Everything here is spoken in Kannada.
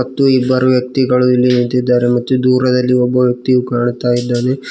ಮತ್ತು ಇಬ್ಬರು ವ್ಯಕ್ತಿಗಳು ಇಲ್ಲಿ ನಿಂತಿದ್ದಾರೆ ಮತ್ತು ದೂರದಲ್ಲಿ ಒಬ್ಬ ವ್ಯಕ್ತಿಯು ಕಾಣುತ್ತಾಯಿದ್ದಾನೆ.